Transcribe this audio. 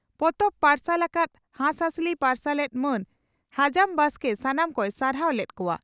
ᱯᱚᱛᱚᱵ ᱯᱟᱨᱥᱟᱞ ᱟᱠᱟᱫ ᱦᱟᱸᱥᱦᱟᱸᱥᱞᱤ ᱯᱟᱨᱥᱟᱞᱮᱛ ᱢᱟᱱ ᱦᱟᱡᱟᱢ ᱵᱟᱥᱠᱮ ᱥᱟᱱᱟᱢ ᱠᱚᱭ ᱥᱟᱨᱦᱟᱣ ᱞᱮᱫ ᱠᱚᱣᱟ ᱾